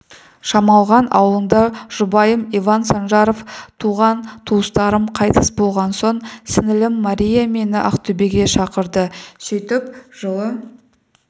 шамалған ауылында жұбайым иван санжаров туған-туыстарым қайтыс болған соң сіңлім мария мені ақтөбеге шақырды сөйтіп жылы